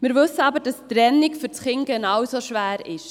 Wir wissen aber, dass die Trennung für das Kind genauso schwer ist.